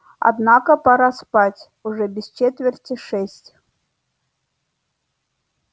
однако пора спать уже без четверти шесть